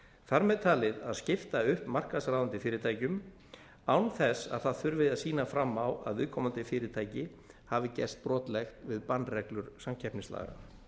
þar með talið að skipta upp markaðsráðandi fyrirtækjum án þess að það þurfi að sýna fram á að viðkomandi fyrirtæki hafi gerst brotlegt við bannreglur samkeppnislaga